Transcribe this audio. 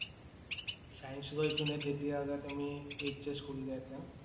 Science লৈ কেনে তেতিয়া আৰু তুমি HS কৰিলা হেঁতেন